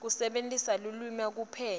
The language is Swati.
kusebentisa lulwimi kuphenya